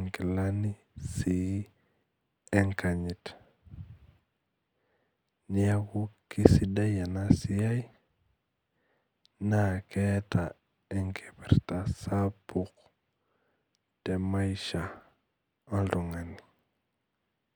nkilani enkanyit neaku kesidai emasia na keeta enkipirta sapuk temaisha oltungani